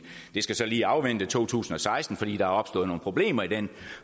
det skal så lige afvente to tusind og seksten fordi der er opstået nogle problemer i den